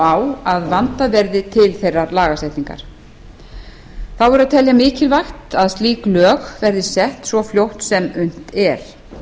á að vandað verði til þeirrar lagasetningar þá verður að telja mikilvægt að slík lög verði sett svo fljótt sem unnt er